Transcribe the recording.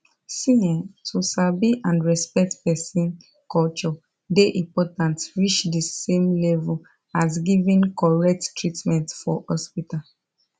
see[um]to sabi and respect person culture dey important reach the same level as giving correct treatment for hospital